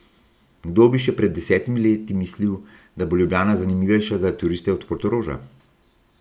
Kdo bi še pred desetimi leti mislil, da bo Ljubljana zanimivejša za turiste od Portoroža?